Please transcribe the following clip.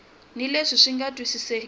ni leswi swi nga twisisekeki